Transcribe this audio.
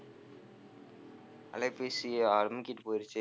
அலைபேசி அமுக்கிட்டு போயிருச்சு.